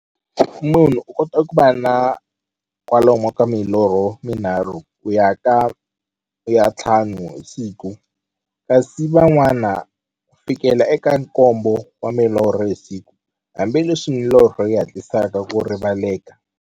Munhu u kota ku va na kwalomu ka milorho minharhu ku ya ka ya nthlanu hi siku, kasi van'wana ku fikela eka nkombo wa milorho hi siku, hambileswi milorho yi hatlisaka ku rivaleka.